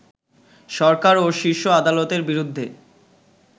সরকার ও শীর্ষ আদালতের বিরুদ্ধে